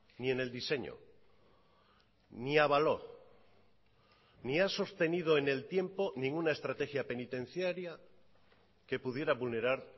ni en el diseño ni avaló ni a sostenido en el tiempo ninguna estrategia penitenciaria que pudiera vulnerar